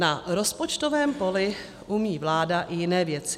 Na rozpočtovém poli umí vláda i jiné věci.